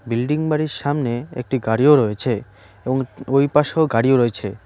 Building বাড়ির সামনে একটি গাড়িও রয়েছে এবং ওই পাশেও গাড়িও রয়েছে।